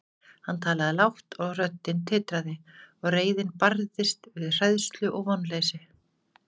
Hann talaði lágt, og röddin titraði, og reiðin barðist við hræðslu og vonleysi.